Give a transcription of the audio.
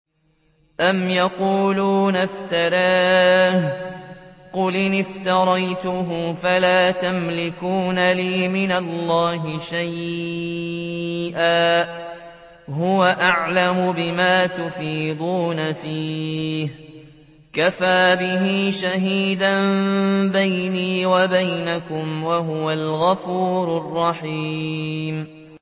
أَمْ يَقُولُونَ افْتَرَاهُ ۖ قُلْ إِنِ افْتَرَيْتُهُ فَلَا تَمْلِكُونَ لِي مِنَ اللَّهِ شَيْئًا ۖ هُوَ أَعْلَمُ بِمَا تُفِيضُونَ فِيهِ ۖ كَفَىٰ بِهِ شَهِيدًا بَيْنِي وَبَيْنَكُمْ ۖ وَهُوَ الْغَفُورُ الرَّحِيمُ